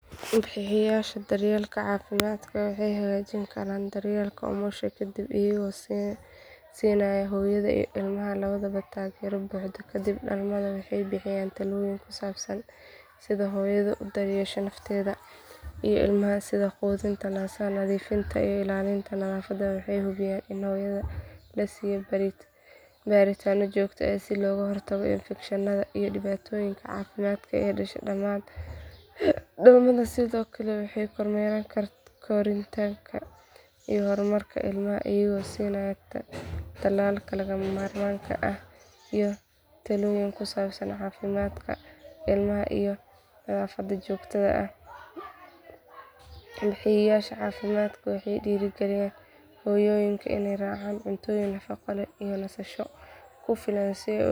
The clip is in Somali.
Waalidka marka ilmahooda yar ay qandho qabato waa inay marka hore si dhow u eegaan xaaladda ilmaha oo ay cabbiraan heerkulka jirkiisa hadii uu aad u sarreeyo waa inay si dhaqso ah ula xiriiraan adeeg bixiyaha caafimaadka si loogu sameeyo baaritaan iyo daaweyn habboon waalidiinta waa inay ilmaha siiyaan biyo badan si aanu u qalalin jidhkiisa sidoo kale waa inay hubiyaan inuu qaato nasasho ku filan iyo